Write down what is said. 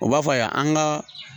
U b'a fɔ yan an ka